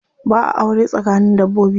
Ba'a aure tsakanin dabbobi.